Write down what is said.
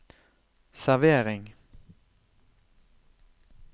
servering